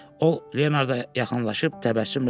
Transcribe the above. O Leonard yaxınlaşıb təbəssümlə dedi.